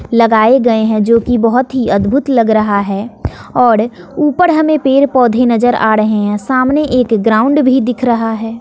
लगाए गए हैं जो कि बहुत ही अद्भुत लग रहा है और ऊपर हमें पेड़ पौधे नजर आ रहे हैं सामने एक ग्राउंड भी दिख रहा है।